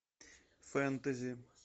фэнтези